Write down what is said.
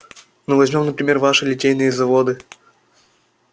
ну возьмём например ваши литейные заводы